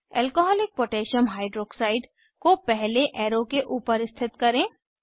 alcoholic potassium hydroxide alcकोह को पहले एरो के ऊपर स्थित करें